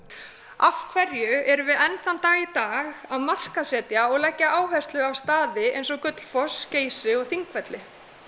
af hverju erum við enn þann dag í dag að markaðssetja og leggja áherslu á staði eins og Gullfoss Geysi og Þingvelli